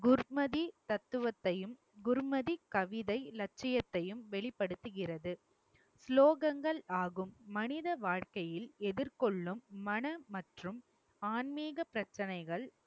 குர்மதி தத்துவத்தையும் குர்மதி கவிதை இலட்சியத்தையும் வெளிப்படுத்துகிறது. சுலோகங்கள் ஆகும் மனித வாழ்க்கையில் எதிர்கொள்ளும் மன மற்றும் ஆன்மீக பிரச்சனைகள்